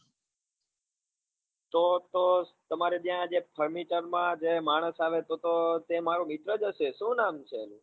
તો તો તમારે ત્યાં જે furniture માં જે માણસ આવે તો તો તે મારો મિત્ર જ હશે શું નામ છે એનું?